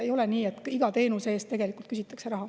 Ei ole nii, et iga teenuse eest küsitakse raha.